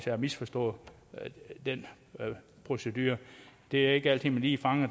har misforstået den procedure det er ikke altid man lige fanger